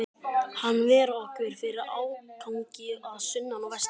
Hann ver okkur fyrir ágangi að sunnan og vestan.